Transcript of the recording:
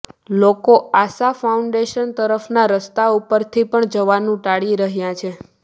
લોકો આશા ફાઉન્ડેશન તરફનાં રસ્તા ઉપરથી પણ જવાનું ટાળી રહ્યાં છે